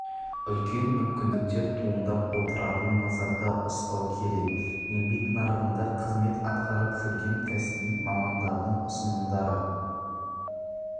үлкен мүмкіндіктер туындап отыратынын назарда ұстау керек еңбек нарығында қызмет атқарып жүрген кәсіби мамандардың ұсынымдары